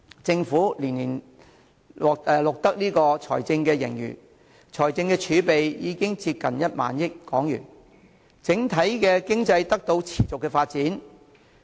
政府連年錄得財政盈餘，財政儲備已經接近1萬億港元，整體經濟得到持續發展。